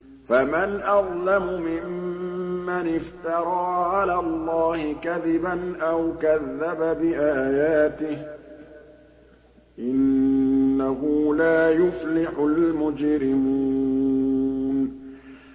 فَمَنْ أَظْلَمُ مِمَّنِ افْتَرَىٰ عَلَى اللَّهِ كَذِبًا أَوْ كَذَّبَ بِآيَاتِهِ ۚ إِنَّهُ لَا يُفْلِحُ الْمُجْرِمُونَ